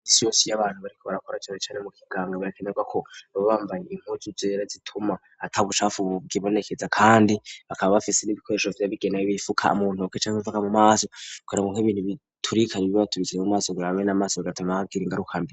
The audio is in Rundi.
Imisi yose iy'abantu bariko barakora cane cane mu kiganga birakenerwa ko bababambaye impuzu zera zituma ata bucafu bwibonekeza ,kandi bakaba bafise n'ibikoresho vyabigenewe bifuka muntoke canke mu maso bikabarinda nk'ibintu biturika ntibibabaturukire mu maso bigatuma bagira ingarukambi.